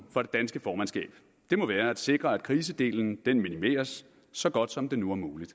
for det danske formandskab må være at sikre at krisedelen minimeres så godt som det nu er muligt